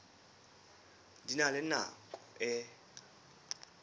di na le nako e